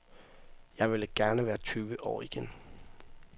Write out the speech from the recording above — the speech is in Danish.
Jeg ville gerne være tyve år igen.